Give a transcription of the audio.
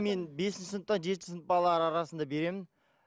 мен бесінші сыныптан жетінші сынып балалар арасында беремін